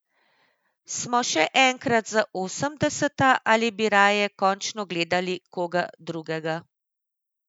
Smo še enkrat za osemdeseta ali bi raje končno gledali koga drugega?